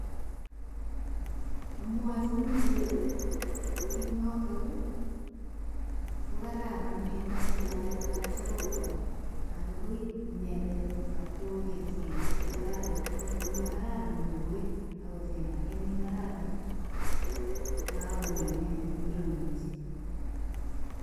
Amwachini kole. kit notok ko kararan eng kastomaek alak chegokwal ,anan koib inendet akibkogerchigei ngotko kararan. Ngotko makararan kowek akocheng age ne kararan, kokagonai inendet ngiro nemache.